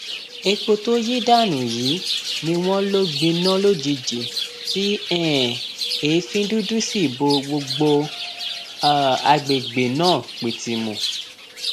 epo tó yí dànù yìí ni wọn lọ gbiná lójijì tí um èéfín dúdú sì bo gbogbo um àgbègbè náà pìtìmù